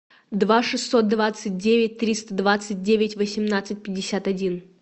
два шестьсот двадцать девять триста двадцать девять восемнадцать пятьдесят один